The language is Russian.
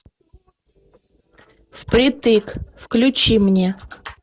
впритык включи мне